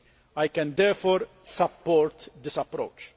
I can therefore support this approach.